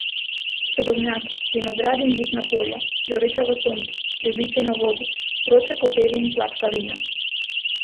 Sadovnjaki, vinogradi in žitna polja, zoreča v soncu, ribiči na vodi, vroče kopeli in sladka vina.